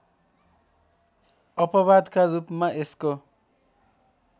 अपवादका रूपमा यसको